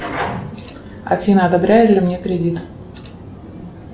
афина одобряли ли мне кредит